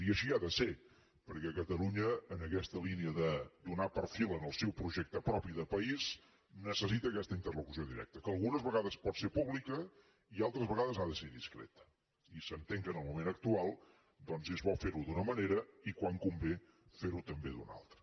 i així ha de ser perquè catalunya en aquesta línia de donar perfil al seu projecte propi de país necessita aquesta interlocució directa que algunes vegades pot ser pública i altres vegades ha de ser discreta i s’entén que en el moment actual és bo fer ho d’una manera i quan convé fer ho també d’una altra